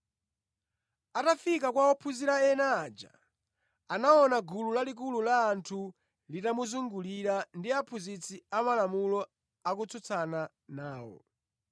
Atafika kwa ophunzira ena aja, anaona gulu lalikulu la anthu litawazungulira ndi aphunzitsi amalamulo akutsutsana nawo.